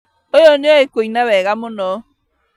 ũyũ nĩoĩ kuina wega mũno